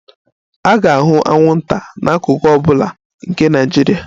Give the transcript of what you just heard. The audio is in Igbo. A ga-ahụ anwụnta n'akụkụ ọ bụla nke Naijiria